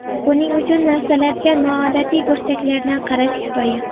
Buning uchun narsalarga noodatiy burchaklardan qarash kifoya.